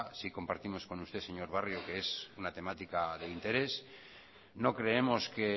sí compartimos con usted señor barrio que es una temática de interés no creemos que